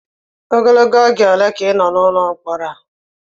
Ogologo oge ole ka ị nọ n'ụlọ mkpọrọ a?